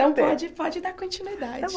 ter Então, pode pode dar continuidade.